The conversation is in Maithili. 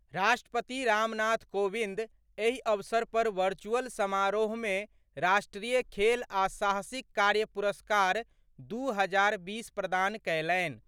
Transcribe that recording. राष्ट्रपति रामनाथ कोविंद एहि अवसर पर वर्चुअल समारोहमे राष्ट्रीय खेल आ साहसिक कार्य पुरस्कार दू हजार बीस प्रदान कयलनि।